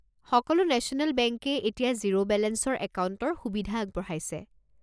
সকলো নেশ্যনেল বেংকেই এতিয়া জিৰ' বেলেঞ্চৰ একাউণ্টৰ সুবিধা আগবঢ়াইছে।